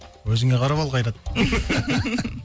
өзіе қарап ал қайрат